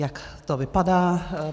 Jak to vypadá?